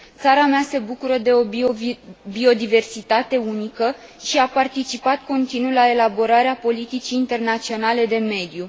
Țara mea se bucură de o biodiversitate unică și a participat continuu la elaborarea politicii internaționale de mediu.